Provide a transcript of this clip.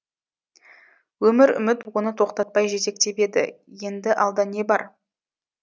өмір үміт оны тоқтатпай жетектеп еді енді алда не бар